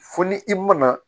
Fo ni i mana